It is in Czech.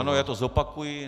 Ano, já to zopakuji.